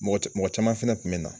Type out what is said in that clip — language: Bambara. Mɔgɔ ci, mɔgɔ caman fɛnɛ kun bɛ na.